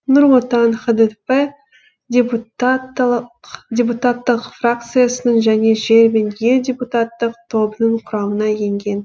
нұр отан хдп депутаттық фракциясының және жер мен ел депутаттық тобының құрамына енген